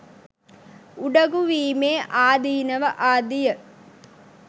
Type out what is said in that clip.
උඩගුවීමේ ආදීනව ආදිය